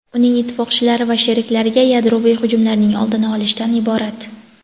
uning ittifoqchilari va sheriklariga yadroviy hujumlarning oldini olishdan iborat.